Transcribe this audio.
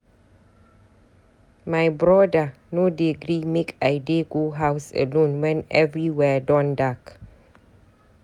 My broda no dey gree make I dey go house alone wen everywhere don dark.